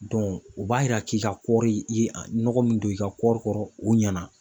o b'a yira k'i ka kɔɔri i ye a nɔgɔ min don i ka kɔɔri kɔrɔ, o ɲɛna.